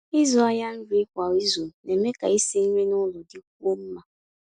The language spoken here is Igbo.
ị̀zụ́ àhịa nrí kwá ízù ná-èmé kà ísi nrí nụ́lọ̀ dị́kwúó mmá.